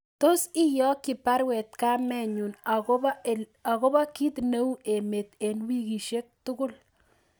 Tos iyokyi baruet kamenyun agobo kit ne u emet en wikisyek tugul